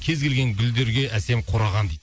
кез келген гүлдерге әсем қураған дейді